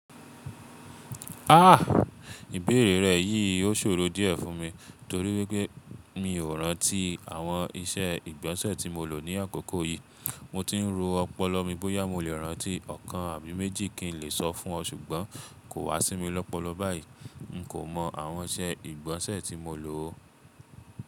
Ah! Ìbéèrè rẹ yìí ó ṣòro díẹ̀ fún mi torí wípé mi ò rántí àwọn iṣẹ́ ìgbọ̀nsẹ̀ tí mo lò ní àkókò yìí. Mo ti ń ro ọpọlọ mi bóyá mo lè rántí ọ̀kan àbí méjì kí n lè sọ fún ọ ṣùgbọ́n kò wá sí mi lọ́pọlọpọ̀ báyìí. N kò mọ àwọn iṣẹ́ ìgbọ̀nsẹ̀ tí mo lò ó.